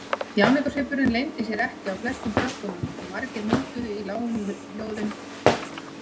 Þjáningarsvipurinn leyndi sér ekki á flestum krökkunum og margir muldruðu í lágum hljóðum: Þjáning.